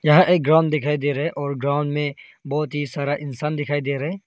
यह एक ग्राउंड दिखाई दे रहा है और ग्राउंड में बहोत ही सारा इंसान दिखाई दे रहा है।